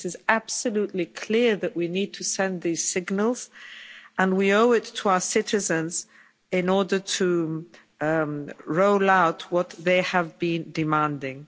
It is absolutely clear that we need to send these signals, and we owe it to our citizens in order to roll out what they have been demanding.